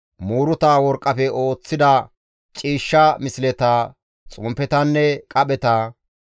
muuruta worqqafe oosettida ciishsha misleta, xomppetanne qapheta,